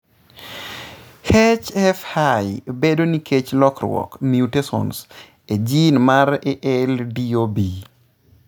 HFI bedo nikech lokruok (mutations) e gene mar ALDOB.